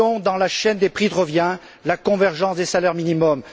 Incluons dans la chaîne des prix de revient la convergence des salaires minimums.